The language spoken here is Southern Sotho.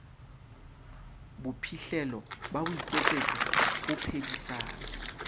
bophihlelo ba boiketsetso ho phedisana